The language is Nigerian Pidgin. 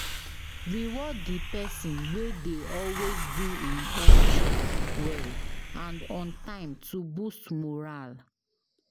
Reward di person wey dey always do im own chore well and on time to boost morale